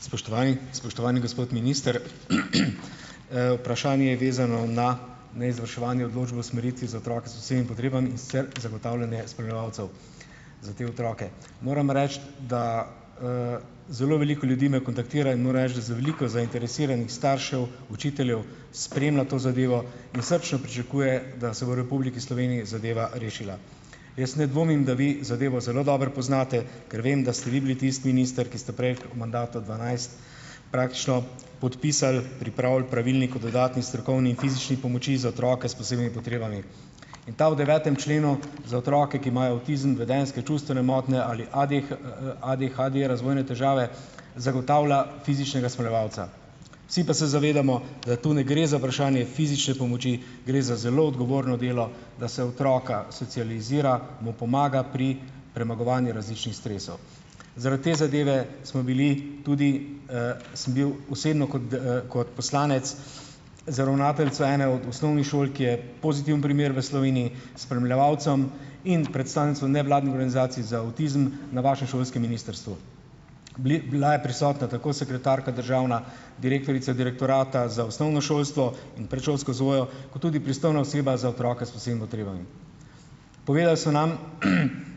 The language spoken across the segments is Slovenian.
Spoštovani! Spoštovani gospod minister! Vprašanje je vezano na neizvrševanje odločb o usmeritvi za otroke s posebnimi potrebami, in sicer zagotavljanje spremljevalcev za te otroke. Moram reči, da, zelo veliko ljudi me kontaktira in moram reči, da za veliko zainteresiranih staršev, učiteljev, spremlja to zadevo in srčno pričakuje, da se bo v Republiki Sloveniji zadeva rešila. Jaz ne dvomim, da vi zadevo zelo dobro poznate, ker vem, da ste vi bili tisti minister, ki ste prej v mandatu dvanajst praktično podpisal, pripravili pravilnik o dodatni strokovni fizični pomoči za otroke s posebnimi potrebami. In ta v devetem členu za otroke, ki imajo avtizem, vedenjske, čustvene motnje ali ADHD, razvojne težave, zagotavlja fizičnega spremljevalca. Vsi pa se zavedamo, da tu ne gre za vprašanje fizične pomoči, gre za zelo odgovorno delo, da se otroka socializira, mu pomaga pri premagovanju različnih stresov. Zaradi te zadeve smo bili tudi, sem bil osebno kot, kot poslanec z ravnateljico ene od osnovnih šol, ki je pozitiven primer v Sloveniji, spremljevalcem in predstavnico nevladne organizacije za avtizem na vašem šolskem ministrstvu. bila je prisotna tako sekretarka državna, direktorica direktorata za osnovno šolstvo in predšolsko vzgojo, kot tudi pristojna oseba za otroke s posebnimi potrebami. Povedali so nam,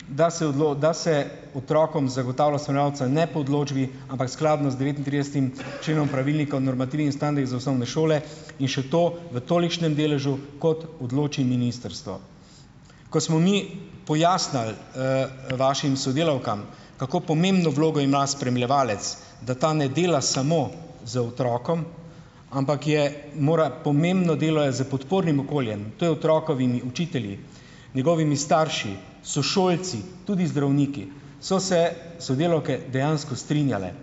da se da se otrokom zagotavlja spremljevalca, ne po odločbi, ampak skladno z devetintridesetim členom pravilnika o normativih in standardih za osnovne šole in še to v tolikšnem deležu, kot odloči ministrstvo. Ko smo mi pojasnili, vašim sodelavkam, kako pomembno vlogo ima spremljevalec, da ta ne dela samo z otrokom, ampak je mora pomembno delo je s podpornim okoljem, to je otrokovimi učitelji, njegovimi starši, sošolci, tudi zdravniki, so se sodelavke dejansko strinjale.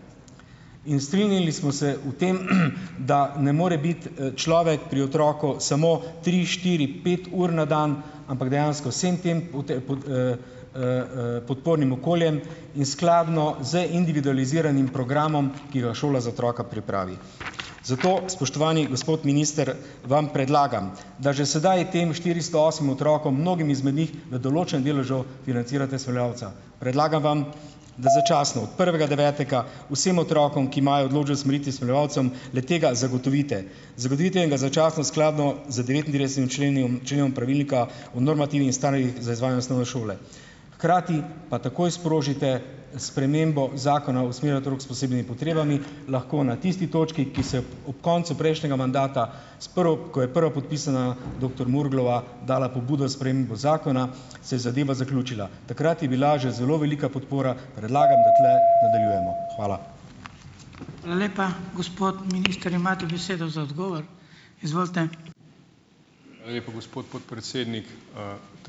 In strinjali smo se o tem, da ne more biti, človek pri otroku samo tri, štiri, pet ur na dan, ampak dejansko vsem tem podpornim okoljem in skladno z individualiziranim programom, ki ga šola za otroka pripravi. Zato, spoštovani gospod minister, vam predlagam, da že sedaj tem štiristo osmim otrokom, mnogim izmed njih, v določenem deležu financirate spremljevalca. Predlagam vam, da začasno od prvega devetega vsem otrokom, ki imajo odločbe o usmeritvi s spremljevalcem, le-tega zagotovite. Zagotovite in ga začasno skladno z devetintridesetim členi členom pravilnika o normativih in standardih za izvajanje osnovne šole. Hkrati pa takoj sprožite spremembo zakona o usmerjanju otrok s posebnimi potrebami. Lahko na tisti točki, ki se ob koncu prejšnjega mandata, s ko je prva podpisana doktor Murglova dala pobudo spremembo zakona, se je zadeva zaključila. Takrat je bila že zelo velika podpora. Predlagam, da tule nadaljujemo. Hvala.